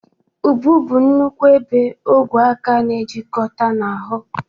Ubu bụ nkwonkwo ebe ogwe aka na-ejikọta na ahụ.